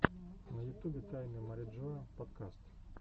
на ютубе тайны мариджоа подкаст